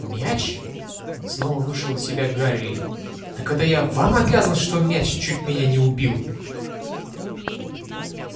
мяч снова вышел из себя гарри так это я вам обязан что мяч чуть меня не убил